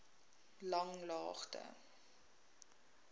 langlaagte